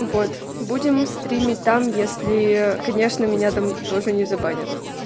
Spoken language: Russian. вот будем стримить там если конечно меня там тоже не забанят